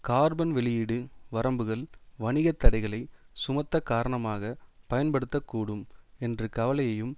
carbon வெளியீடு வரம்புகள் வணிக தடைகளை சுமத்தக் காரணமாக பயன்படுத்த கூடும் என்ற கவலையையும்